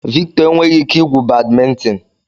Victor enweghị ike igwu badminton.